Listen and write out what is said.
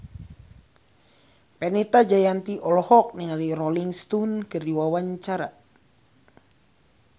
Fenita Jayanti olohok ningali Rolling Stone keur diwawancara